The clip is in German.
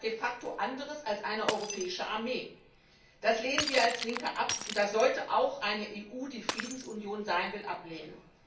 Was ist das de facto anderes als eine europäische Armee? Das lehnen wir als Linke ab und das sollte auch eine EU, die eine Friedensunion sein will, ablehnen.